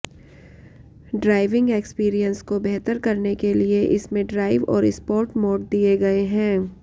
driving experience को बेहतर करने के लिए इसमें ड्राइव और स्पोर्ट मोड दिए गए हैं